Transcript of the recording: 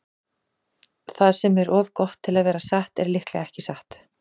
Það sem er of gott til að vera satt er líklega ekki satt.